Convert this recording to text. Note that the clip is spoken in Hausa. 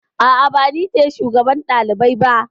A'a, ba ni ce shugaban ɗalibai ba.